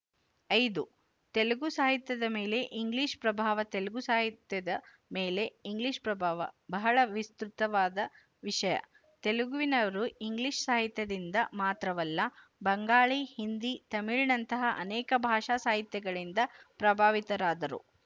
ಐದು ತೆಲುಗು ಸಾಹಿತ್ಯದ ಮೇಲೆ ಇಂಗ್ಲಿಶ ಪ್ರಭಾವ ತೆಲುಗು ಸಾಹಿತ್ಯದ ಮೇಲೆ ಇಂಗ್ಲಿಶ ಪ್ರಭಾವ ಬಹಳ ವಿಸ್ತೃತವಾದ ವಿಶಯ ತೆಲುಗಿನವರು ಇಂಗ್ಲಿಶ ಸಾಹಿತ್ಯದಿಂದ ಮಾತ್ರವಲ್ಲ ಬಂಗಾಳಿ ಹಿಂದಿ ತಮಿಳಿನಂತಹ ಅನೇಕ ಭಾಷಾಸಾಹಿತ್ಯಗಳಿಂದ ಪ್ರಭಾವಿತರಾದರು